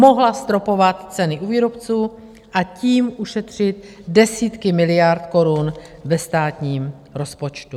Mohla zastropovat ceny u výrobců a tím ušetřit desítky miliard korun ve státním rozpočtu.